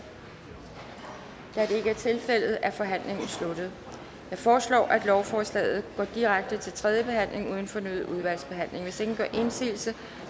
da det ikke er tilfældet er forhandlingen sluttet jeg foreslår at lovforslaget går direkte til tredje behandling uden fornyet udvalgsbehandling hvis ingen gør indsigelse